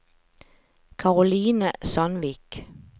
Karoline Sandvik